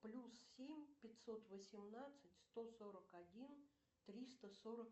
плюс семь пятьсот восемнадцать сто сорок один триста сорок